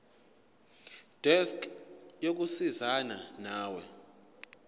desk yokusizana nawe